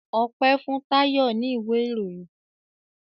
Ope fun Tayo ní ìwé ìròyìn